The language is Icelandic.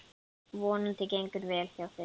Vonandi gengur vel hjá þeim.